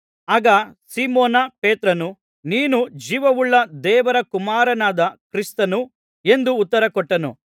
ಆಗ ಸೀಮೋನ ಪೇತ್ರನು ನೀನು ಜೀವವುಳ್ಳ ದೇವರ ಕುಮಾರನಾದ ಕ್ರಿಸ್ತನು ಎಂದು ಉತ್ತರ ಕೊಟ್ಟನು